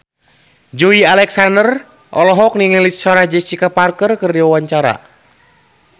Joey Alexander olohok ningali Sarah Jessica Parker keur diwawancara